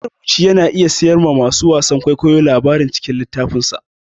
Marubuci yana iya siyarwa masu wasan kwaikwayo labarin cikin littafinsa